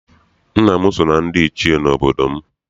Nna m si na ndị Ichie n'obodo m.